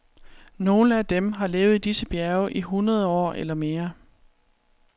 Nogle af dem har levet i disse bjerge i hundrede år eller mere.